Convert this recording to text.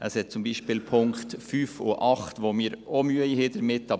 Es sind zum Beispiel die Punkte 5 und 8, mit denen wir auch Mühe haben.